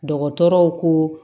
Dɔgɔtɔrɔw ko